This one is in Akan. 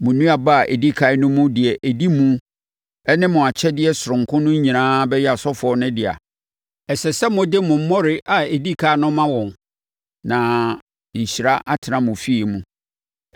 Mo nnuaba a ɛdi ɛkan no mu deɛ ɛdi mu ne mo akyɛdeɛ sononko no nyinaa bɛyɛ asɔfoɔ no dea. Ɛsɛ sɛ mode mo mmɔre a ɛdi ɛkan no ma wɔn na nhyira atena mo afie mu.